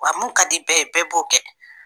Wa min ka di bɛɛ ye, bɛɛ b'o kɛ!